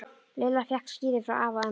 Lilla fékk skíði frá afa og ömmu.